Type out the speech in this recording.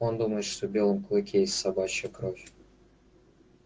он думает что в белом клыке есть собачья кровь